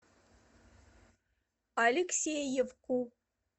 алексеевку